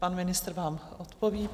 Pan ministr vám odpoví.